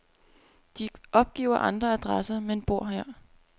De opgiver andre adresser, men bor her.